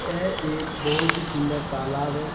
यह एब बहुत ही सुन्दर तलाब है।